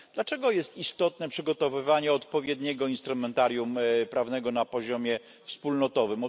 Dlaczego jest istotne przygotowywanie odpowiedniego instrumentarium prawnego na poziomie wspólnotowym?